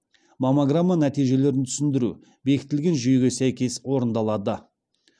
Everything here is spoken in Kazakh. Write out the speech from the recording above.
маммограмма нәтижелерін түсіндіру бекітілген жүйеге сәйкес орындалады